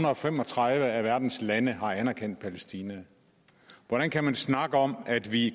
og fem og tredive af verdens lande har anerkendt palæstina hvordan kan man snakke om at vi